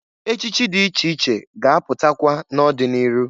Echichi dị iche iche ga-apụtakwa n'ọdị n'iru.